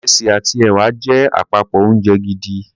Ìrẹsì àti ẹ̀wà jẹ́ àpapọ̀ oúnjẹ gidi.